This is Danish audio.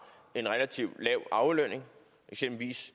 en relativt lav aflønning eksempelvis